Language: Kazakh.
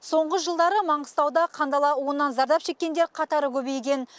соңғы жылдары маңғыстауда қандала уынан зардап шеккендер қатары көбейген